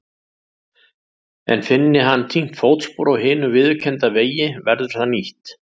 En finni hann týnt fótspor á hinum viðurkennda vegi verður það nýtt.